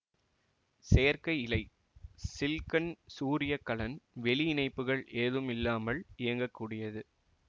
செயற்கை இலை சில்க்கன் சூரிய கலன் வெளி இணைப்புகள் ஏதும் இல்லாமல் இயங்கக்கூடியது